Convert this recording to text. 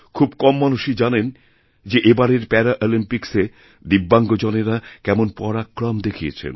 খুব কম মানুষইজানেন যে এবারের প্যারাঅলিম্পিক্সে দিব্যাঙ্গজনেরা কেমন পরাক্রম দেখিয়েছেন